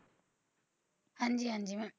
ਹਾਂਜੀ ਹਾਂਜੀ ਮੈਂ